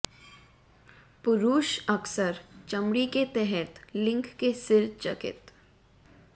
पुरुष अक्सर चमड़ी के तहत लिंग के सिर चकित